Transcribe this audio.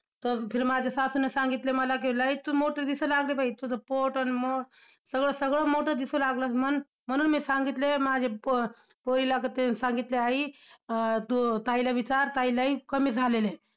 तर फिर माझ्या सासूने सांगितलं मला कि लयच तू मोठी दिसू लागली बाई! तुझं पोट अन मग सगळं सगळंच मोठं दिसू लागलं म्हणून. म्हणुन मी सांगितलंय माझ्या पो~पोरीला की तिनं सांगितलं, आई, अं तू ताईला विचार! ताई लय कमी झालेल्या आहेत.